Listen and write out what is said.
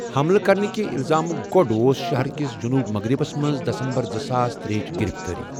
حملہٕ كرنكہِ الزامٗك گو٘ڈ اوس شہرٕ كِس جنوٗب مٛغرِبس منز دسمبر زٕساس ترےؔ ہٕچ گِرِفتٲری ۔